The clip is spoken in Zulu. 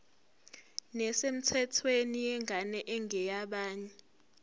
nesemthethweni yengane engeyabanye